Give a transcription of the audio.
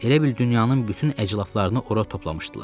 Elə bil dünyanın bütün əclafılarını ora toplamışdılar.